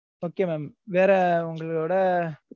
okay mam வேற உங்களோட,